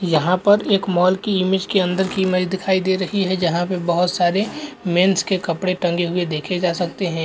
यहाँ पर एक मॉल की इमेज कि अंदर की इमेज दिखाई दे रही हैं जहा पे बहोत सारे मेंस के कपड़े टंगे हुए देखे जा सकते हैं।